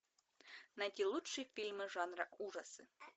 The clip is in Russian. найти лучшие фильмы жанра ужасы